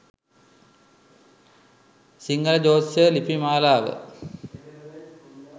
සිංහල ජ්‍යොතිෂ ලිපි මාලාව